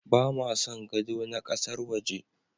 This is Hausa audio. Ba ma son gado na ƙasar waje.